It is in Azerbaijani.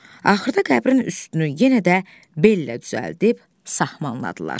Axırda qəbrin üstünü yenə də bellə düzəldib sahmanladılar.